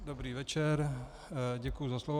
Dobrý večer, děkuji za slovo.